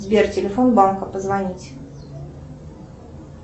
сбер телефон банка позвонить